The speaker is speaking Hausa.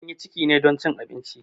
An yi ciki ne don abinci.